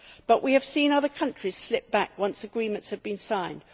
However, we have seen other countries slip back once agreements have been signed.